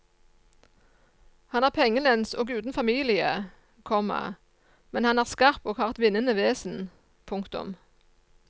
Han er pengelens og uten familie, komma men han er skarp og har et vinnende vesen. punktum